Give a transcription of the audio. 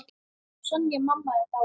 Sonja mamma er dáinn.